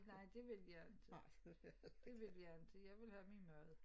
Nej det vil jeg ikke. Det vil jeg ikke jeg vil have min mad